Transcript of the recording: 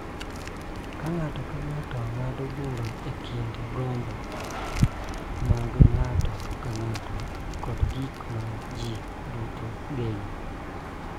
Kaka ng�ato ka ng�ato ng�ado bura e kind gombo mag ng�ato ka ng�ato kod gik ma ji duto geno.